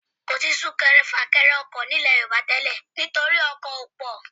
Kì í sí súnkẹrẹ fàkẹrẹ ọkọ̀ nílẹ̀ Yorùbá tẹ́lẹ̀ nítorí ọkọ̀ ò pọ̀